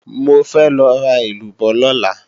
Mo fẹ́ lọ ra èlúbọ́ lọ́la